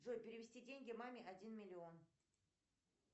джой перевести деньги маме один миллион